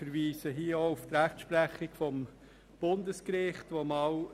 Hier wird auch auf die Rechtsprechung des Bundesgerichts verweisen.